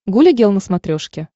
гуля гел на смотрешке